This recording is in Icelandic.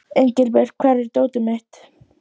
Engilbjört, hvar er dótið mitt?